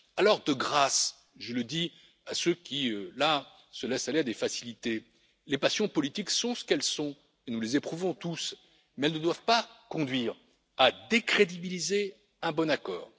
Alors de grâce je le dis à ceux qui se laissent aller à des facilités les passions politiques sont ce qu'elles sont, et nous les éprouvons tous, mais elles ne doivent pas conduire à décrédibiliser un bon accord.